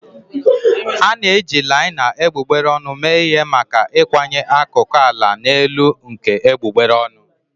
A na-eji laina egbugbere ọnụ mee ihe maka ịkwanye akụkụ ala na elu nke egbugbere ọnụ.